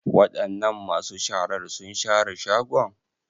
Wadanan masu sharar sun share shagon?